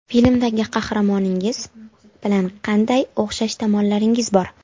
Filmdagi qahramoningiz bilan qanday o‘xshash tomonlaringiz bor?